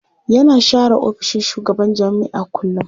Yana share ofishin shugaban jami'a kullum.